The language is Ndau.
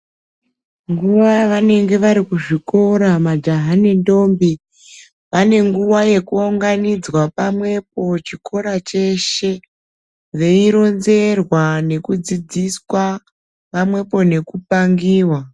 Nguva yavanenge vari kuzvikora majaha nendombi vane nguva yekuunganidzwa pamwepo chikora cheshe veironzerwa nekudzidziswa pamwepo nekupangiwa.